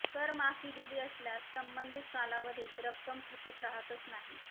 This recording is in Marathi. करमाफी दिली असल्यास संबंधित कालावधीत रक्कम थकीत राहतच नाही